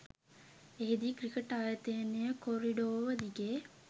එහිදී ක්‍රිකට්‌ ආයතන කොරිඩෝව දිගේ